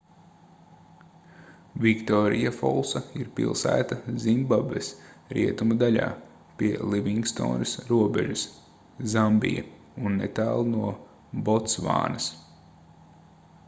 viktorijafolsa ir pilsēta zimbabves rietumu daļā pie livingstonas robežas zambija un netālu no botsvānas